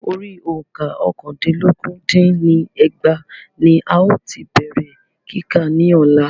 Orí òǹkà ọ́kàndínlọ́gún dín ní ẹgbàá ní a ti bèrè kíkà ní Ọ̀la.